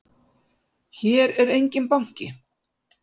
Hér er enginn banki!